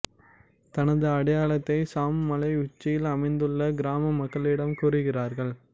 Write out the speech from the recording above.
தனது அடையாளத்தை சாம் மலை உச்சியில் அமைந்துள்ள கிராம மக்களிடம் கூறுகிறாள்